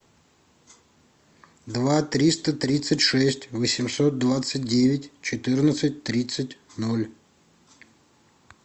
два триста тридцать шесть восемьсот двадцать девять четырнадцать тридцать ноль